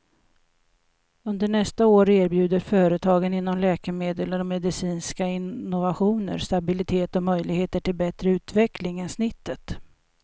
Under nästa år erbjuder företagen inom läkemedel och medicinska innovationer stabilitet och möjligheter till bättre utveckling än snittet.